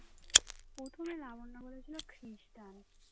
প্রথমে লাবণ্য বলেছিল খ্রিস্টান